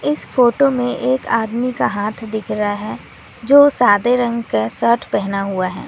इस फोटो में एक आदमी का हाथ दिख रहा है जो सादे रंग का शर्ट पहना हुआ है।